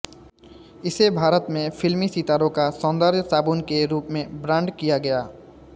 इसे भारत में फिल्मी सितारों का सौंदर्य साबुन के रूप में ब्रांड किया गया